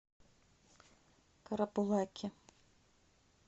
карабулаке